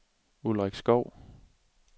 Ulrik Skov